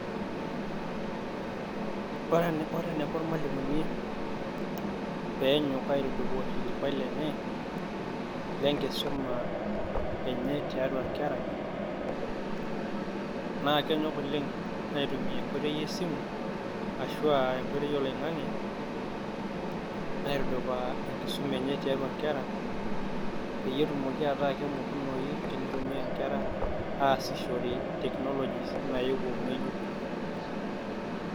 Ore neko mwalimuni pee enyok aitodopo nkilikwa nenye, le enkisuma enye teatua nkerra. Naa kenyok oleng aitumia nkotoi e simu ashua nkotoi oleng'ang'i aitudapaa enkisuma enye teatua enkerra. Pee entomoki ataa emokunoi tenetumia nkerra aisishore technologies naeuo ng'ejuk.